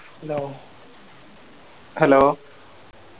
Hello Hello